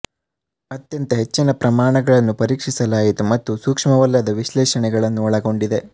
ಅತ್ಯಂತ ಹೆಚ್ಚಿನ ಪ್ರಮಾಣಗಳನ್ನು ಪರೀಕ್ಷಿಸಲಾಯಿತು ಮತ್ತು ಸೂಕ್ಷ್ಮವಲ್ಲದ ವಿಶ್ಲೇಷಣೆಗಳನ್ನು ಒಳಗೊಂಡಿದೆ